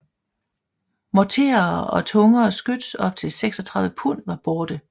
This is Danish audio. Morterer og tungere skyts op til 36 pund var borte